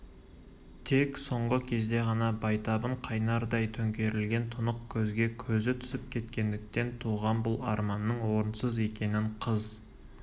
тек соңғы кезде ғана байтабын қайнардай төңкерілген тұнық көзге көзі түсіп кеткендіктен туған бұл арманның орынсыз екенін қыз